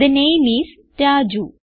the name is Raju